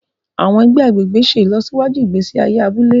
Àwọn ègbé agbègbè ṣe ìlọsíwájú ìgbésí ayé abúlé